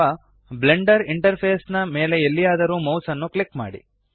ಅಥವಾ Blender interface ನ ಮೇಲೆ ಎಲ್ಲಿಯಾದರೂ ಮೌಸ್ ಅನ್ನು ಕ್ಲಿಕ್ ಮಾಡಿ